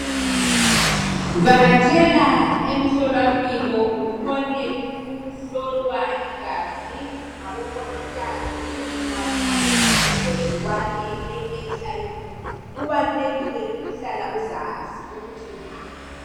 Vakatshela emhlolwampilo ukhone ukuhlolwa igazi ngabomongikazi ngaphansi kwegcikwane leHIV. Kubalulekile ukuhlala uzazi, ukuthi ungaphi.